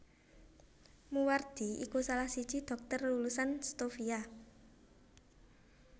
Moewardi iku salah siji dhokter lulusan Stovia